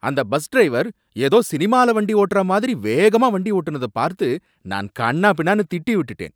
அந்த bus driver ஏதோ சினிமால வண்டி ஒட்டுற மாதிரி வேகமா வண்டி ஒட்டுனத பார்த்து நான் கன்னாபின்னானு திட்டி விட்டுட்டேன்